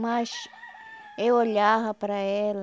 Mas eu olhava para ela,